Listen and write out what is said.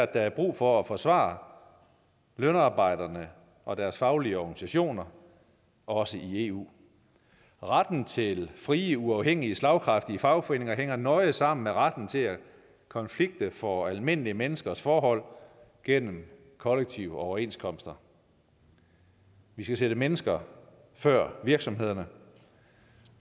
der er brug for at forsvare lønarbejderne og deres faglige organisationer også i eu retten til frie uafhængige slagkraftige fagforeninger hænger nøje sammen med retten til at konflikte for almindelige menneskers forhold gennem kollektive overenskomster vi skal sætte mennesker før virksomhederne